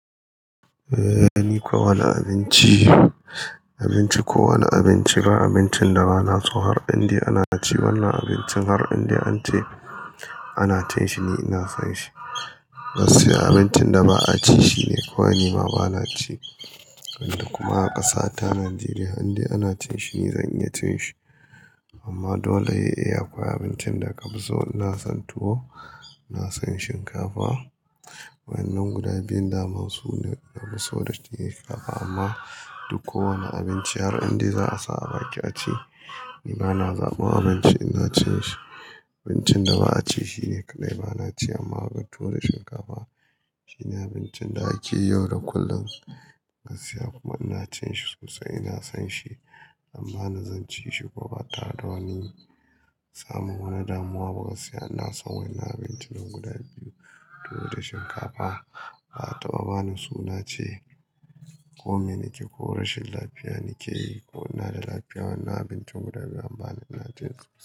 Eh ni ko wanne abinci, abinci ko wanne abinci, ba abincinda bana so har inda ana ci wanna abincin har inda ance ana cin shi ni ina sonshi. Gaskiya abincin da ba'a cinshi ne kawai nima bana ci. Kuma a ƙasa ta Najeriya har inda ana cinshi ni zan iya cinshi. Amma dole ae aƙwai abincinda kafi so. Ina son tuwo, ina son shinkafa. Waɗannan guda biyun daman sune nafi so da shinkafa amma duk kowane abinci har inda za'a sa a baki aci ni bana zaban abinci in zan cishi. Abincinda ba'a ci shine kaɗai bana ci amma tuwo da shinkafa shine abincin da ake yau da kullum gaskiya kuma ina cinshi sosia ina son shi. Am bani zan ci shi kuma ba tare da wani samun wani damuwa ba gaskiya. Ina san wannan abincinan guda biyu tuwo da shinkafa ba'a taɓa bani suna ce kome nake ko rashin lafiya nake yi ko ina da lafiya wannan abincin guda biyun bana ina cinsu.